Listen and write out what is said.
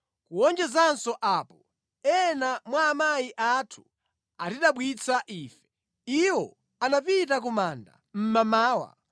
Kuwonjezanso apo, ena mwa amayi athu atidabwitsa ife. Iwo anapita ku manda mmamawa